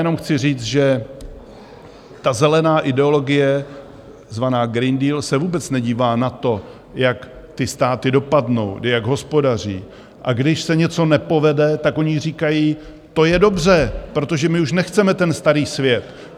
Jenom chci říct, že ta zelená ideologie zvaná Green Deal se vůbec nedívá na to, jak ty státy dopadnou, jak hospodaří, a když se něco nepovede, tak oni říkají: To je dobře, protože my už nechceme ten starý svět.